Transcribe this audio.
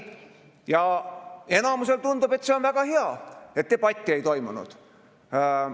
Ja enamusele tundub, et see on väga hea, et debatti ei toimunud.